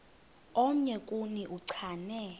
omnye kuni uchane